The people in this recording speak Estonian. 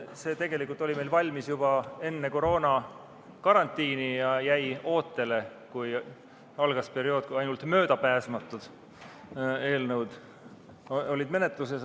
See oli meil tegelikult valmis juba enne koroonakarantiini ja jäi ootele, kui algas periood, kui ainult möödapääsmatud eelnõud olid menetluses.